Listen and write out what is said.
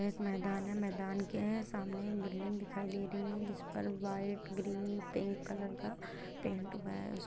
यह एक मैदान है मैदान के सामने बिल्डिंग दिखाई दे रही हैं जिस पर व्हाइट ग्रीन पिंक कलर का पेंट हुआ है|